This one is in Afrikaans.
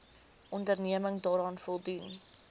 onderneming daaraan voldoen